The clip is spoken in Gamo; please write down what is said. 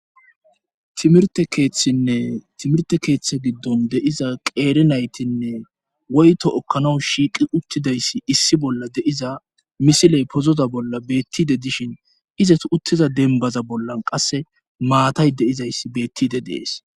timirte keeththine timirte keeththe giddon de7iza qeeri naytinne woyto ekkanaw shiiqi uttidayssi issi bolla de7iza misiley pozoza bolla beettide dishin izas uttiza denbaza bollan qasse maatay de7izayssi beettide dees